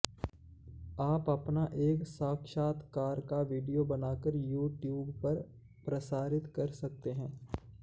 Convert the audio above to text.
आप अपना एक साक्षात्कार का विडियो बनाकर यूट्यूव पर प्रसारित कर सकते हैं